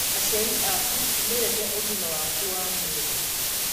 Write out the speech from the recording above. Aciari aku nĩ mendete ũgima waku wa mwĩrĩ.